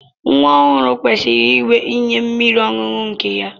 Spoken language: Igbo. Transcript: Nwa ọhụụ kwesiri inwe ihe mmiri ọṅụṅụ nke ya.